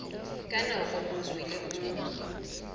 ka nako nngwe le nngwe